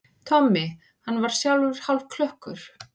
Tommi, hann var sjálfur hálfklökkur.